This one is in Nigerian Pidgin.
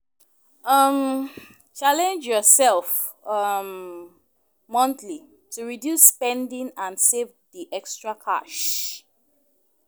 um Challenge yourself um monthly to reduce spending and save the extra cash.